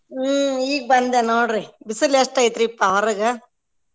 ಹ್ಮ್ ಈಗ್ ಬಂದೆ ನೋಡ್ರಿ ಬಿಸ್ಲ್ ಎಷ್ಟ್ ಐತ್ರೀಪಾ ಹೊರಗ?